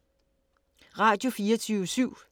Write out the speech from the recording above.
Radio24syv